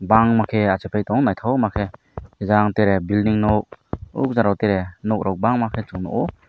bangma ke achuk ke nythok ma ke jang tere building nuk ajaro te nok rok bang ma ke chung nug o.